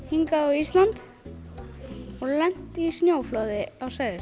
hingað á Íslands og lent í snjóflóði